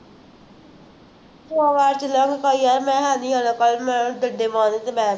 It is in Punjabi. ਆ ਮੈਂ ਹੈ ਨਹੀਂ ਜਾਣਾ ਕੱਲ੍ਹ, madam ਡੰਡੇ ਮਾਰੂ ਅਤੇ